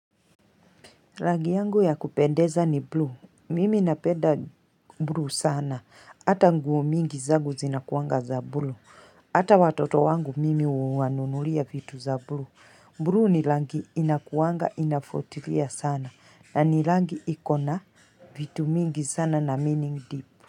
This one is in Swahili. Rangi yangu ya kupendeza ni blue. Mimi napenda blue sana. Hata nguo mingi zangu zinakuanga za blue. Hata watoto wangu mimi uwanunulia vitu za blue. Blue ni rangi inakuanga ina vutilia sana. Na ni rangi ikona vitu mingi sana na meaning deep.